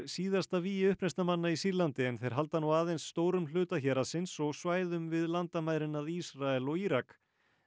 síðasta vígi uppreisnarmanna í Sýrlandi en þeir halda nú aðeins stórum hluta héraðsins og svæðum við landamærin að Ísrael og Írak